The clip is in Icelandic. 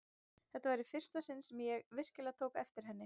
Þetta var í fyrsta sinn sem ég virkilega tók eftir henni.